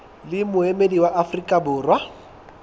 le moemedi wa afrika borwa